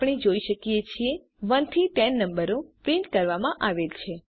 આપણે જોઈ શકીએ છીએ 1 થી 10 નંબરો પ્રિન્ટ કરવામાં આવેલ છે